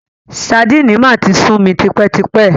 Sadínì máa ti sú mi tipẹ́ tipẹ́.